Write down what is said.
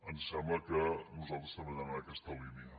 ens sembla que nosal tres també hem d’anar en aquesta línia